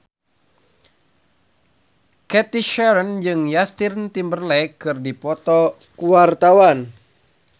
Cathy Sharon jeung Justin Timberlake keur dipoto ku wartawan